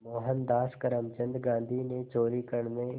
मोहनदास करमचंद गांधी ने चोरी करने